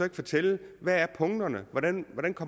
kan fortælle hvad punkterne er hvordan